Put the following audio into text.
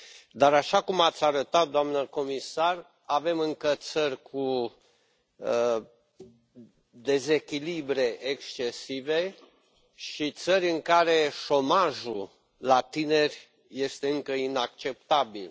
Dar, așa cum ați arătat, doamnă comisar, avem încă țări cu dezechilibre excesive și țări în care șomajul la tineri este încă inacceptabil.